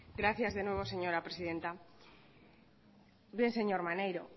gracias de nuevo señora presidenta bien señor maneiro